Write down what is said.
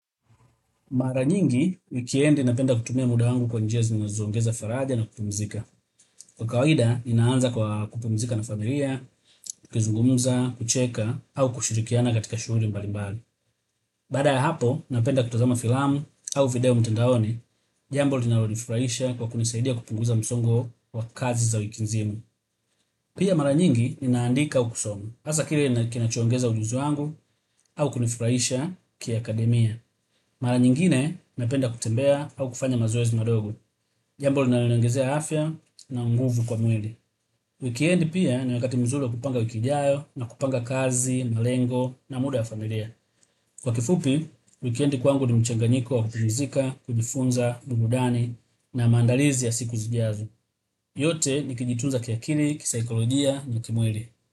Mara nyingi, wikiendi napenda kutumia muda angu kwa njia zinazongeza faraja na kupumzika. Kwa kawaida, ninaanza kwa kupumzika na familia, tukizungumza, kucheka, au kushirikiana katika shughuli mbali mbali. Baada ya hapo, napenda kutazama filamu au video mtandaoni. Jambo, linalonifurahisha kwa kunisaidia kupunguza msongo wa kazi za wiki nzima. Pia mara nyingi, ninaandika au kusoma. Sasa kile, kinachuongeza ujuzi wangu au kunifurahisha kiakademia. Mara nyingine napenda kutembea au kufanya mazoezi madogo. Jambo linaloniongezea afya na nguvu kwa mweli. Wikendi pia, ni wakati mzuri wa kupanga wiki ijayo, na kupanga kazi, malengo na muda ya familia. Kwa kifupi, wikendi kwangu ni mchanganiko wa kupumzika, kujifunza, burudani na maandalizi ya siku zijazo. Yote ni kujitunza kiakili, kisaikolojia na kimwili.